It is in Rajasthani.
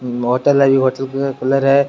होटल है बि होटल के कलर है।